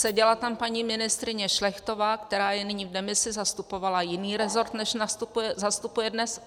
Seděla tam paní ministryně Šlechtová, která je nyní v demisi, zastupovala jiný rezort, než zastupuje dnes.